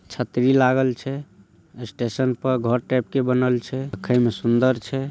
छतरी लागल छै स्टेशन पर घर टाइप के बनल छै देखे में सुंदर छै।